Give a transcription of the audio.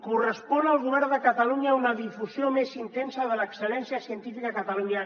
correspon al govern de catalunya una difusió més intensa de l’excel·lència científica a catalunya